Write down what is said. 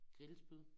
Grillspyd